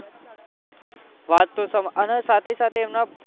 વાત તો તમારી અને સાથે સાથે એમના